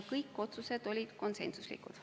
Kõik otsused olid konsensuslikud.